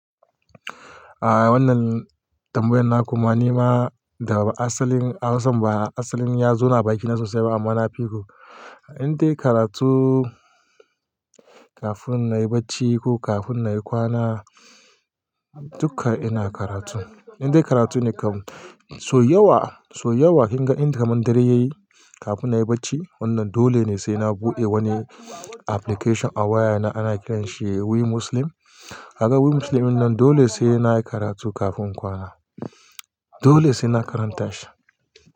A wannan tambayan na kuma ni ma da ba asalin Hausa ba asalin ya zo na baki na sosai ba amma na fi ku. Indai karatu kafin na yi bacci ko kafin na yi kwana duka ina karatu. Indai karatu ne kam. So yawa, so yawa kin ga inda kaman dare ya yi kafin na yi bacci wannan dole ne sai na buɗe wani application a waya na ana kiran shi We Muslim. A ga We Muslim nan dole sai na yi karatu kafin kwana. Dole sai na karanta shi.